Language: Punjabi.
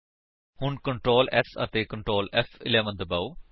ਹੁਣ Ctrl S ਅਤੇ Ctrl ਫ਼11 ਦਬਾਓ